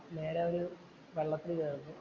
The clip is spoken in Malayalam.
നേരെ ഒരു വള്ളത്തില്‍ കയറുന്നു.